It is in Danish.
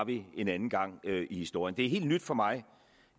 en anden gang i historien det er helt nyt for mig